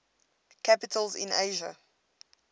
capitals in asia